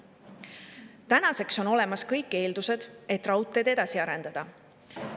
Tänaseks on olemas kõik eeldused, et raudteed edasi arendada.